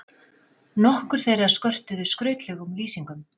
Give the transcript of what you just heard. Nokkur þeirra skörtuðu skrautlegum lýsingum.